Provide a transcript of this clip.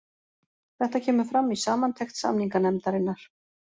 Þetta kemur fram í samantekt samninganefndarinnar